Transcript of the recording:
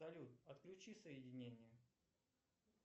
салют отключи соединение